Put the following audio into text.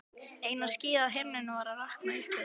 Eina skýið á himninum var að rakna upp yfir